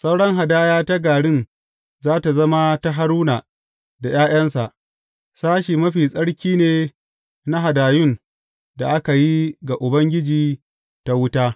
Sauran hadaya ta garin za tă zama ta Haruna da ’ya’yansa; sashe mafi tsarki ne na hadayun da aka yi ga Ubangiji ta wuta.